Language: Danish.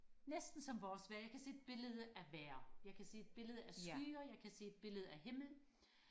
næsten som vores vejr jeg kan se et billede af vejr jeg kan se et billede af skyer jeg kan se et billede af himmel